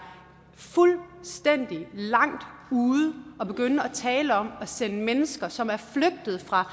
fuldstændig langt ude at begynde at tale om at sende mennesker som er flygtet fra